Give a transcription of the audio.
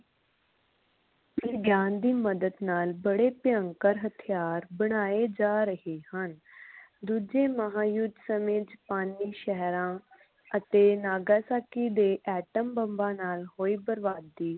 ਵਿਗਿਆਨ ਦੀ ਮਦਦ ਨਾਲ ਬੜੇ ਭਿਅੰਕਰ ਹਥਿਆਰ ਬਣਾਏ ਜਾ ਰਹੇ ਹਨ ਦੂਜੇ ਮਹਾਯੁੱਧ ਸਮੇ ਚ ਪਾਨਿਕ ਸ਼ਹਿਰਾਂ ਅਤੇ ਨਾਗਾਸਾਕੀ ਦੇ ਐਟਮਬੰਬਾਂ ਨਾਲ ਹੋਏ ਪ੍ਰਭਾਤੀ